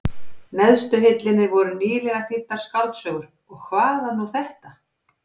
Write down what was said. neðstu hillunni voru nýlegar þýddar skáldsögur, og hvað var nú þetta?